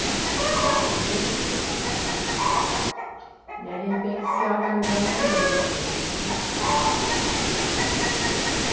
Igreja é bom. E a gente tem que se organizar na igreja mesmo, né?